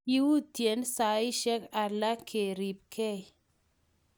kiyutien saisiek alak ke ribgei